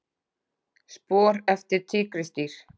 Spor eftir tígrisdýr.